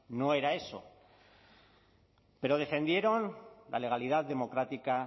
no era eso pero defendieron la legalidad democrática